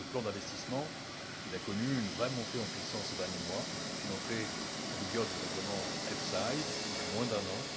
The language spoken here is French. Le plan d'investissement a connu une vraie montée en puissance ces derniers mois depuis l'entrée en vigueur du règlement EFSI, il y a moins d'un an.